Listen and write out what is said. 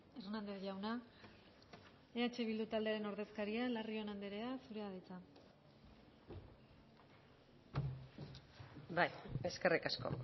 hernández jauna eh bildu taldearen ordezkaria larrion andrea zurea da hitza bai eskerrik asko